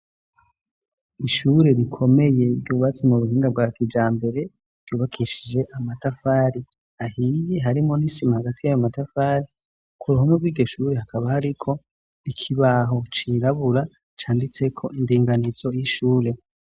ishure rikomeye by'ububatsi mu buhinga bwa kija mbere ryubakishije amatafari ahiye hari mwo nisima hagati y'amamatafari ku ruhome rwiryoshure hakaba hariho ikibaho cirabura canditse ko indinganizo y'ishure